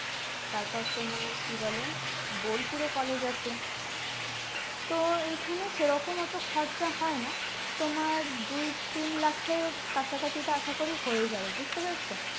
তারপর তোমার কি বলে বোলপুরে college আছে তো এইখানে সেরকম অতো খরচা হয় না তোমার দুই তিন লাখ এর কাছাকাছি তা আশা করি হয়ে যাবে বুঝতে পারছ